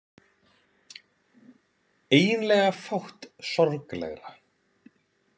Eiginlega fátt sorglegra.